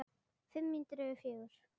Fimm mínútur yfir fjögur.